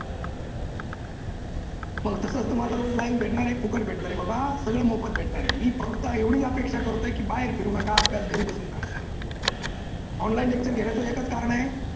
मग तसाच तुम्हाला सर्व live भेटणार आहे फुकट भेटणार आहे बाबा सर्व मोफत भेटणार आहे मी फक्त एवढीच अपेक्षा करतो की बाहेर फिरू नका आपल्याच घरी बसून खा. online lecture घेण्याच एकच कारण आहे